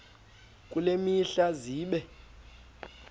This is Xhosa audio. kule mihla zibe